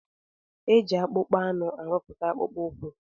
Eji akpụkpọ anụ arụputa akpụkpọ ukwu.